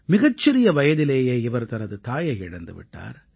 மிகச்சிறிய வயதிலேயே இவர் தனது தாயை இழந்து விட்டார்